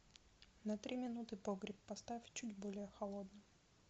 на три минуты погреб поставь чуть более холодным